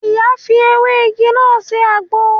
Ìyá ń fi ewé igi náà sè àgbo